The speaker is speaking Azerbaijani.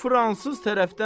İngilis dəllaldır.